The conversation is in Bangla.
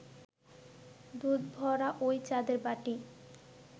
দুধভরা ঐ চাঁদের বাটি